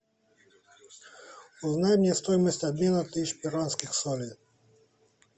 узнай мне стоимость обмена тысячи перуанских солей